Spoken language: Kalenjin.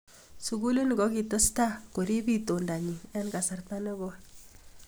Sugulini kokitestai koriip itondanyi eng kasarta ne koi.